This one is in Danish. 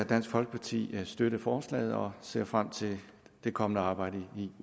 dansk folkeparti støtte forslaget og ser frem til det kommende arbejde i